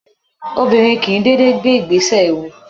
Obìnrin kìí dédé gbé ìgbésẹ̀ ewu